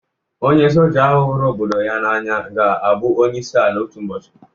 Onye Soja ahụ huru obodo ya n'anya ga-abụ onye isi ala otu ụbọchị.